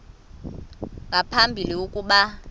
nga phambili ukuba